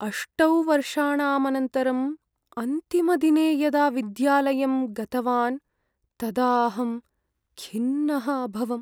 अष्टौ वर्षाणाम् अनन्तरम्, अन्तिमदिने यदा विद्यालयं गतवान् तदा अहं खिन्नः अभवम्।